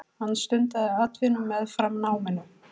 Hann stundaði atvinnu meðfram náminu.